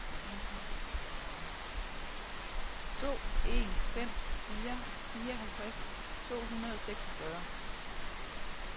to en fem fire fireoghalvtreds to hundrede og seksogfyrre